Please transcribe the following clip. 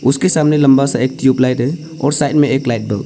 उसके सामने लंबा सा एक ट्यूबलाइट है और साइड में एक लाइट बल्ब --